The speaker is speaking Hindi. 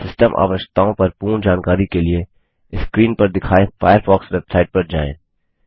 सिस्टम आवश्यकताओं पर पूर्ण जानकारी के लिए स्क्रीन पर दिखाए फ़ायरफ़ॉक्स वेबसाइट पर जाएँ